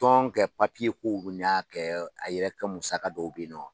Tɔn kɛ kow n'a kɛ a yɛrɛ kɛ musaka dɔw bɛ ye nɔ.